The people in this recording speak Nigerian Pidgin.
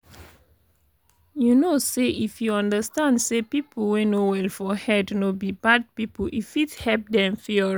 you know say if you understand say people wey no well for head no be bad people e fit help them feel alright.